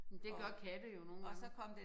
Men det gør katte jo nogle gange